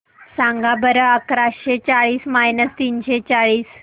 सांगा बरं अकराशे चाळीस मायनस तीनशे चाळीस